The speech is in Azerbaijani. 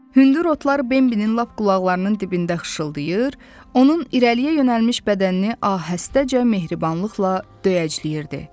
Hündür otlar Bembinin lap qulaqlarının dibində xışıltılar, onun irəliyə yönəlmiş bədənini ahəstəcə mehribanlıqla döyəcləyirdi.